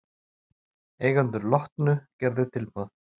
Eigendur Lotnu gerðu tilboð